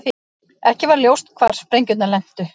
Ekki var ljóst hvar sprengjurnar lentu